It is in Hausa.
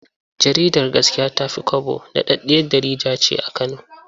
Jaridar Gaskiya ta fi kwabo daɗaɗɗiyar jkjarida ce a Kano.